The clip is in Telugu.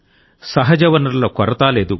సహజ వనరుల కొరత లేదు